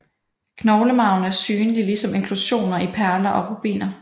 Knoglemarven er synlig ligesom inklusioner i perler og rubiner